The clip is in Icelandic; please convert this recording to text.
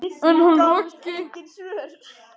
En hann Raggi?